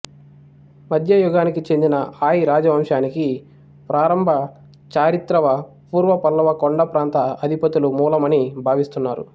మద్యయుగానికి చెందిన ఆయ్ రాజవంశానికి ప్రారంభ చారిత్రవ్పూర్వపల్లవ కొండప్రాంత అధిపతులు మూలమని భావిస్తున్నారు